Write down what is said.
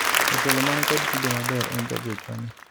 jatelo man kod kido maber en jagochwa ni